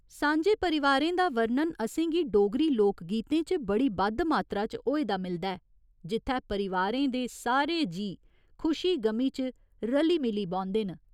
सांझे परिवारें दा वर्णन असें गी डोगरी लोग गीतें च बड़ी बद्ध मात्रा च होए दा मिलदा ऐ, जित्थै परिवारें दे सारे जीऽ खुशी गमी च रली मिली बौंह्दे न।